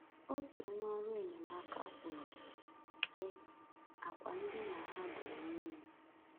Otu onye ọrụ enyemaka kwuru, sị: “Àkwà ndina ha dere mmiri.